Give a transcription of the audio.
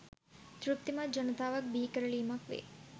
තෘප්තිමත් ජනතාවක් බිහිකරලීමක් වේ.